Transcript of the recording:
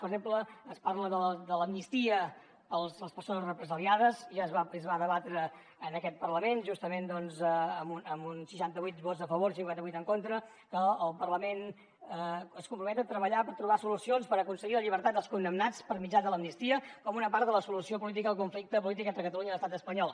per exemple es parla de l’amnistia per a les persones represaliades ja es va debatre en aquest parlament justament doncs amb seixanta vuit vots a favor cinquanta vuit en contra que el parlament es compromet a treballar per trobar solucions per aconseguir la llibertat dels condemnats per mitjà de l’amnistia com una part de la solució política al conflicte polític entre catalunya i l’estat espanyol